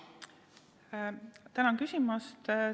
Tänan küsimast!